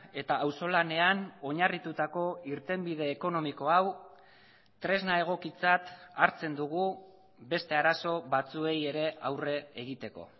eta auzolanean oinarritutako irtenbide ekonomiko hau tresna egokitzat hartzen dugu beste arazo batzuei ere aurre egiteko